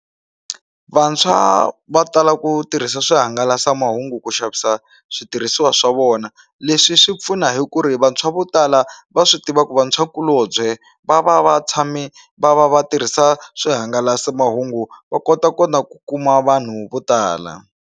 Vantshwa va tala ku tirhisa swihangalasamahungu ku xavisa switirhisiwa swa vona leswi swi pfuna hi ku ri vantshwa vo tala va swi tiva ku vantshwakulobye va va va tshame va va va tirhisa swihangalasamahungu va kotakota ku kuma vanhu vo tala.